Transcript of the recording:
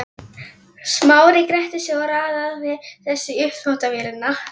Smári gretti sig og raðaði þessu í uppþvottavélina.